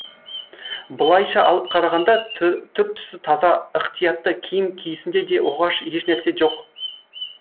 былайша алып қарағанда түр түсі таза ықтиятты киім киісінде де оғаш ешнәрсе жоқ